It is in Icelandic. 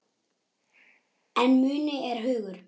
En muni er hugur.